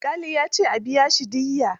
Alƙali ya ce a biya shi diyya